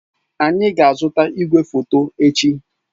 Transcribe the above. Anyị ga-azụta igwefoto echi.